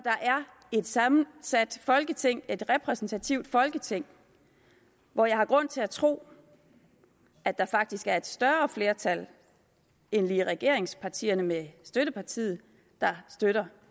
et sammensat folketing et repræsentativt folketing hvor jeg har grund til at tro at der faktisk er et større flertal end lige regeringspartierne med støttepartiet der støtter